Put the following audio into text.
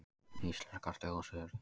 Íslenskar þjóðsögur.